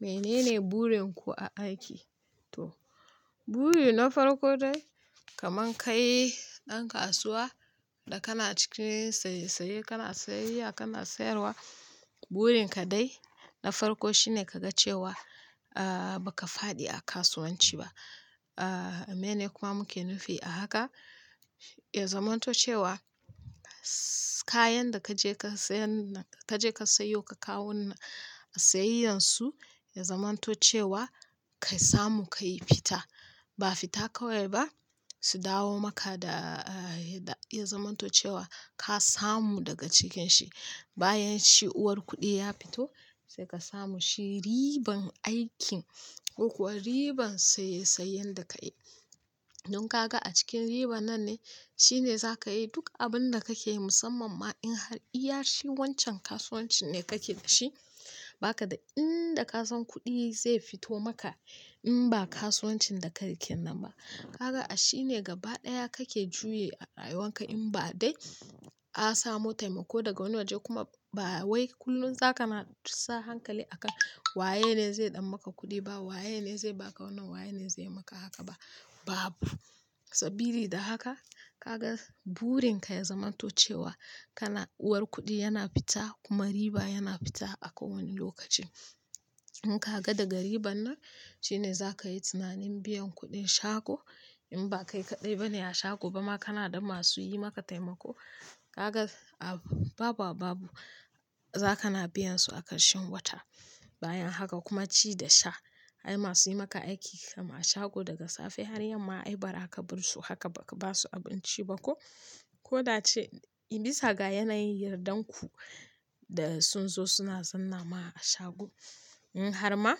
Menene burin ku a aiki? To, buri na farko dai kaman kai ɗan kasuwa da kana cikin saye saye, kana sayayya, kana sayarwa, burin ka dai na farko shine ka ga cewa, ba ka faɗi a kasuwanci ba. Meyene kuma muke nufi a haka? Ya zamanto cewa, kayan da ka je ka sayan nan, ka je ka sayo ka kawonnan, sayayyansu, ya zamanto cewa ka samu ka yi fita. Ba fita kawai ba, su dawo maka da, ya zamanto cewa ka samu daga cikin shi. Bayan shi, uwar kuɗi ya fito sai ka samu shi, riban aikin ko kuwa riban saye sayen da ka yi. Don kaga a cikin riba nan ne shine za ka yi duk abin da kake yi musamman ma in har iya shi wancan kasuwancin ne kake da shi. Ba ka da inda ka san kuɗi zai fito maka in ba kasuwancin da ka rike nan ba. Kaga a shi ne gaba ɗaya kake juye a rayuwan ka in ba dai ka samu taimako daga wani waje kuma ba wai kullum za ka sa hankali akan waye ne zai ɗau maka kuɗi ba, waye ne zai baka wannan, waye ne zai maka haka ba. Babu. Sabili da haka ka ga burin ka ya zamanto cewa kana uwar kuɗi yana fita kuma riba yana fita a kowane lokaci. In ka ga daga riban nan shine za ka yi tunanin biyan kuɗin shago in ba kai kaɗai ba ne a shago ba ma kana da masu yi maka taimako. Kaga a-- baba babu, za kana biyan su a karshen wata. Bayan haka kuma ci da sha. Ai masu yi maka aiki kam a shago daga safe har yamma ai ba ra ka bar su haka ba ka ba su abinci ba ko? Koda ace, in bisa ga yanayin yardar ku da sun zo suna zanna ma a shago, in har ma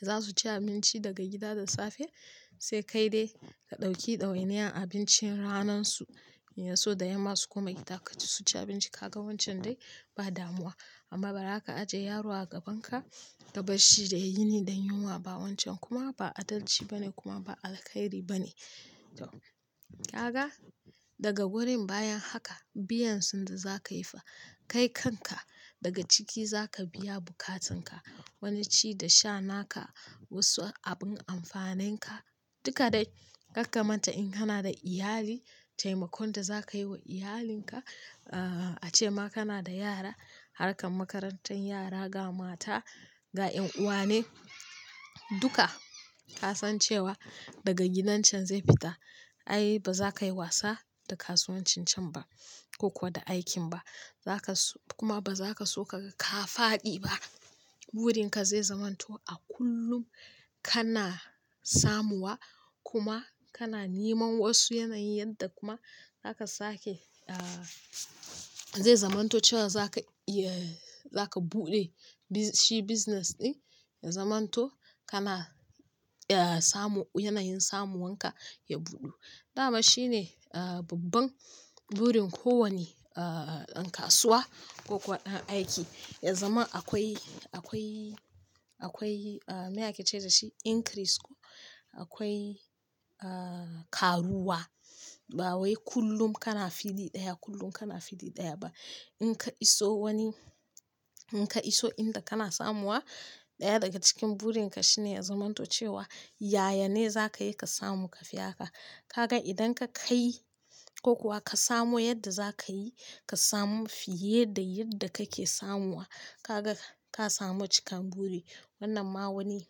za su ci abinci daga gida da safe sai kai dai ka ɗauki ɗawainiyar abincin ranan su. Ya so da yamma su koma gida ka ci su ci abinci. Kaga wancan dai ba damuwa. Amma ba ra ka ajiye yaro a gaban ka ka bar shi da yi ni da yunwa ba. Wancan kuma ba adalci ba ne kuma ba alkhairi ba ne. To, kaga daga wurin bayan haka biyan sun da za ka yi fa, kai kanka daga ciki za ka biya bukatanka. Wani ci da sha naka, wasu abin amfanin ka, duka dai. Kar ka manta in kana da iyali, taimakon da za ka yi wa iyalinka, ace ma kana da yara, harkar makarantar yara, ga mata, ga 'yan uwa ne, duka ka san cewa daga gidan can zai fita. Ai ba za ka yi wasa da kasuwancin can ba ko kuwa da aikin ba. Za ka so-- kuma ba za ka so kaga ka faɗi ba. Burin ka zai zamanto a kullum kana samuwa kuma kana neman wasu yanayin yadda kuma zaka sake, zai zamanto cewa za ka, iya za ka buɗe bi-- shi business ɗin ya zamanto kana, samu-- yanayin samuwan ka ya buɗu. Dama shi ne, babban burin kowane, ɗan kasuwa ko kuwa ɗan aiki. Ya zama akwai, akwai, akwai, me ake ce da shi increase ko? Akwai, ƙaruwa. Ba wai kullum kana fili ɗaya, kullum kana fili ɗaya ba. In ka iso wani, in ka iso inda kana samuwa, ɗaya daga cikin burin ka shine ya zamanto cewa yaya ne za ka yi ka samu kafi ha ka. Kaga idan ka kai ko kuwa ka samo yadda za ka yi ka samu fiye da yadda kake samuwa, kaga ka samu cikan buri. Wannan ma wani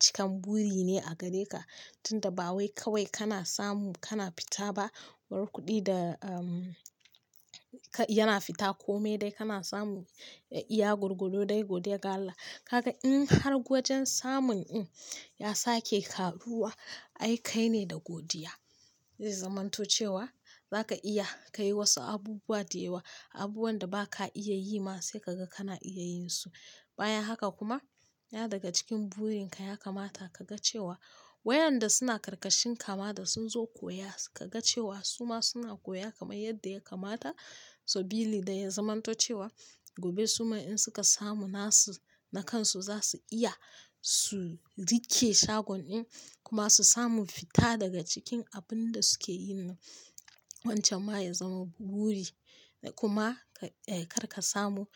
cikan buri ne a gare ka. Tun da ba wai kawai kana samu, kana fita ba. Uwar kuɗi da, yana fita kome dai kana samu, da iya gwargwado dai godiya ga Allah. Kaga in har wajen samun din ya sake ƙaruwa, ai kai ne da godiya. Zai zamanto cewa za ka iya ka yi wasu abubuwa da yawa, abubuwan da ba ka iya yi ma sai kaga kana iya yin su. Bayan haka kuma, ɗaya daga cikin burin ka ya kamata ka ga cewa wayan da suna karkashin ka ma da sun zo koya, ka ga cewa su ma suna koya kamar yadda ya kamata. Sabili da ya zamanto cewa gobe su ma in suka samu nasu na kan su, za su iya su riƙe shagon ɗin kuma su samu fita daga cikin abin da suke yi. Wancan ma ya zama buri da kuma, kar ka samu,